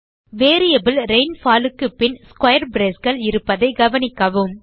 variable rainfall க்கு பின் square braceகள் இருப்பதை கவனிக்கவும்